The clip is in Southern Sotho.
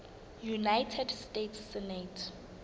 united states senate